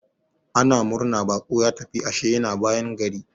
Ana murna baƙo ya tafi, ashe yana bayan gari.